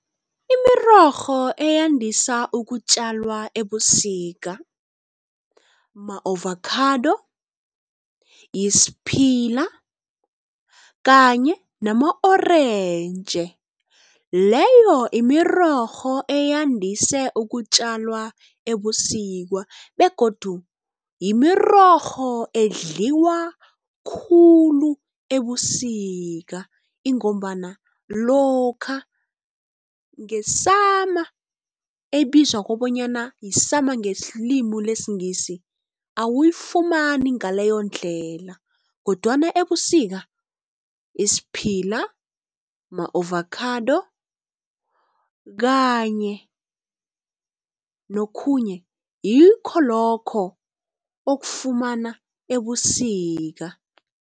Imirorho eyandisa ukutjalwa ebusika ma-ovakhado, yisphila kanye nama-orentji leyo mirorho eyandise ukutjalwa ebusika begodu yimirorho edliwa khulu ebusika, ingombana lokha ngesama ebizwa kobanyana yisama ngelimu lesingisi. Awuyifumani ngaleyo ndlela kodwana ebusika isiphila, ma-avakhado kanye nokhunye ngikho lokho okufumana ebusika.